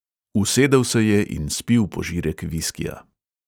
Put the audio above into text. Usedel se je in spil požirek viskija.